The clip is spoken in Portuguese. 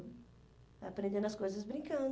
Vai aprendendo as coisas